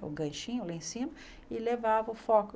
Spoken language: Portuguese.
o ganchinho lá em cima e levava o...